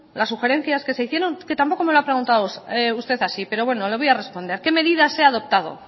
las sugerencias que se hicieron que tampoco me lo ha preguntado usted así pero bueno le voy a responder qué medidas he adoptado